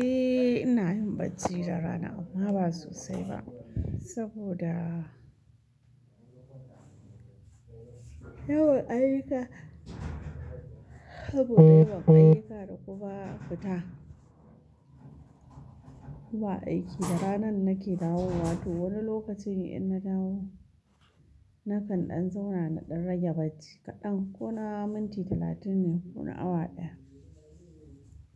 Eh ina yin bacci da rana amma ba sosai ba saboda yawan ayyuka saboda yawan ayyuka da kuma fita, zuwa aiki da ranan nake dawo wato wani lokacin in na dawo nakan ɗan zauna na ɗan rage bacci kaɗan ko na minti talatin ne ko na awa ɗaya.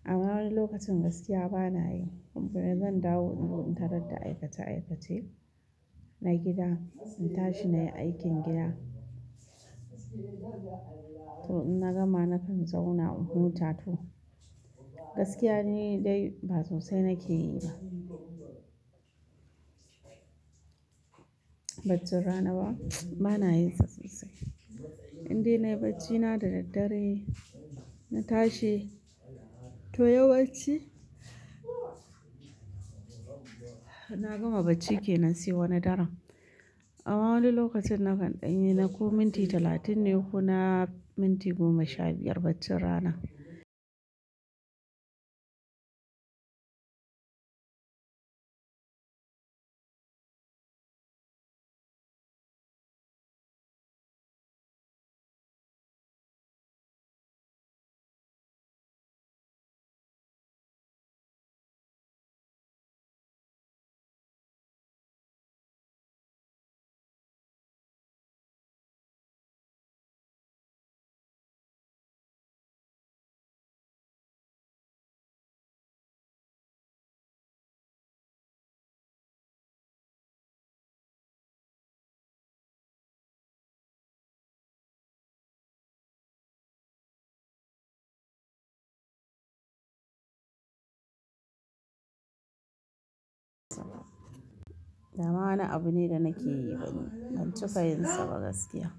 Amma wani lokacin gaskiya bana yi kuma zan dawo inzo in tarar da aikace aikace na gida, in tashi nayi aikin gida. To in na gama nakan zauna unhuta toh. Gaskiya ne dai ba sosai nake yi ba. Baccin rana ba, bana yin sa sosai. Indai nayi bacci na da daddare na tashi to yawan ci na gama bacci kenan sai wani daran. Amma wani lokacin nakan ɗanyi na ko minti talatin ne ko na minti goma sha biyar baccin rana. Da ma ana abu ne da nake yi ban ban ci ka yin sa ba gaskiya.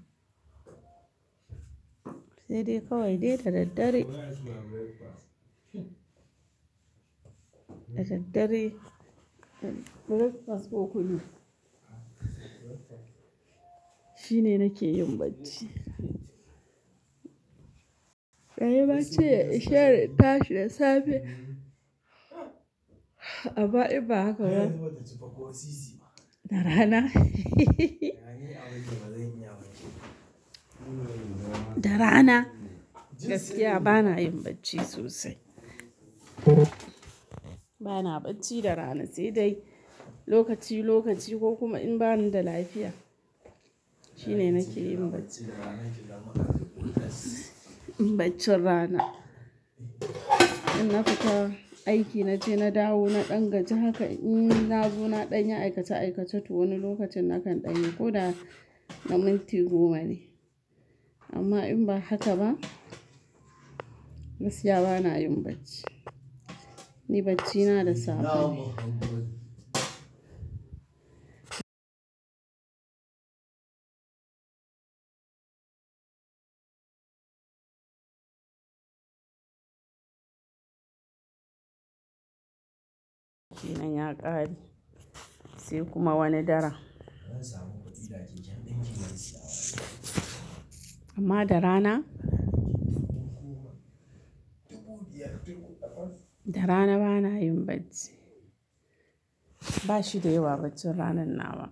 Sai dai kawai dai da daddare, da daddare shine nake yin bacci. Dan ya ce ya ishe ya tashi da safe amma in ba haka ba. Da rana da rana gaskiya bana yin bacci sosai. Bana bacci da rana sai dai lokaci lokaci ko kuma in bani da lafiya shine nake yin bacci. Baccin rana in na fita aiki na je na dawo na ɗan gaje haka in na zo na ɗanye aikace aikace to wani lokacin nakan ɗanye ko da na minti goma ne. Amma in ba haka ba gaskiya bana yin bacci. Ni bacci na da safe ne. Nayau ya kare sai kuma wani daran. Amma da rana, da rana bana yin bacci. Ba shi da yawa baccin ranan na wa.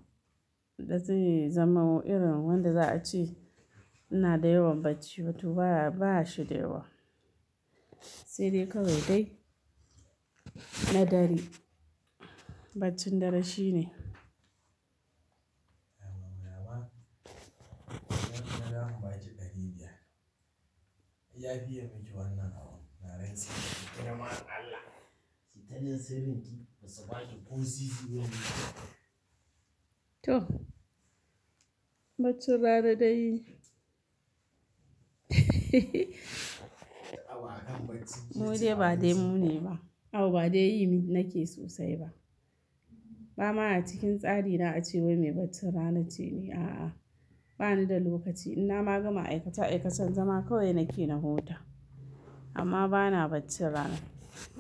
Ba zai zama irin wanda za a ce ina da yawan bacci ba to ba ba shi da yawa. Sai dai kawai dai na dare baccin dare shine. To baccin rana dai mu dai ba dai mu ne ba. A'a ba dai yi nake sosai ba. Ba ma a cikin tsari na a ce wai mai baccin rana ce ne a'a. Bani da lokaci ina ma gama aikace aikacen zama kawai nake na huta amma bana baccin rana.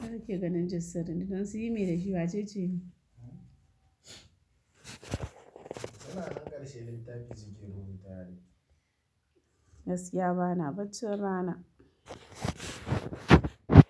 Kai kake ganin jin sirri ne don sun yi me da shi wace ce ni? Gaskiya bana baccin rana.